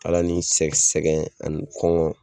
Ala ni sɛ sɛgɛn ani kɔngɔn